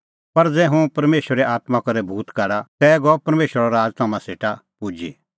पर ज़ै हुंह परमेशरे आत्मां करै भूत काढा तै गअ परमेशरो राज़ तम्हां सेटा पुजी